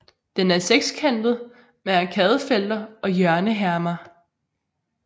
Den er sekskantet med arkadefelter og hjørnehermer